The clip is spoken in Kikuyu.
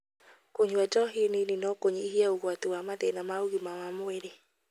Kũnyua njohi nini no kũnyihie ũgwati wa mathĩna ma ũgima wa mwĩrĩ.